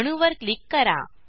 अणूवर click करा